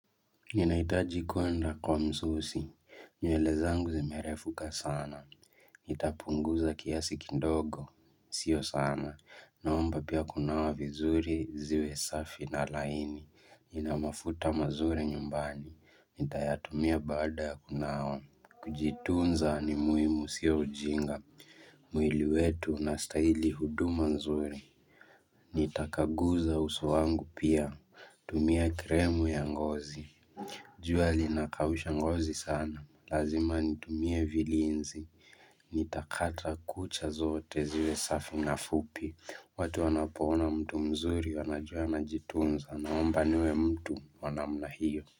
Ninahitaji kwenda kwa msusi, nywele zangu zimerefuka sana, nitapunguza kiasi kidogo, sio sana, naomba pia kunawa vizuri ziwe safi na laini, nina mafuta mazuri nyumbani, nitayatumia bada ya kunawa, kujitunza animuimu siyo ujinga, muili wetu na staili huduma nzuri, nitakaguza uso wangu pia, tumia kremu ya ngozi. Jua linakaushangozi sana. Lazima nitumie vilinzi. Nitakata kucha zote ziwe safi na fupi. Watu wanapona mtu mzuri wanajuana jitunza na mambaniwe mtu wanamla hiyo.